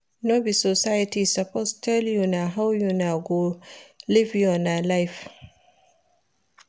No be society suppose tell una how una go live una life.